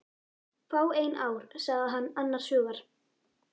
Fáein ár sagði hann annars hugar.